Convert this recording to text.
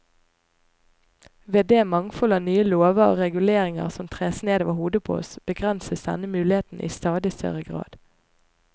Ved det mangfold av nye lover og reguleringer som tres ned over hodet på oss, begrenses denne mulighet i stadig større grad.